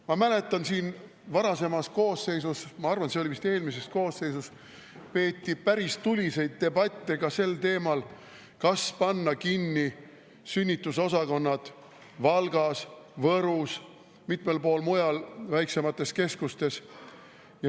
Ma mäletan, ühes varasemas koosseisus – ma arvan, et see oli vist eelmises koosseisus – peeti päris tuliseid debatte sel teemal, kas panna kinni sünnitusosakonnad Valgas, Võrus ja mitmel pool mujal väiksemates keskustes.